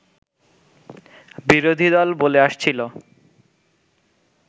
বিরোধীদল বলে আসছিল